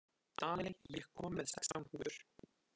Daley, ég kom með sextán húfur!